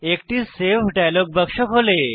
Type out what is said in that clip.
একটি save dialogue বাক্স খোলে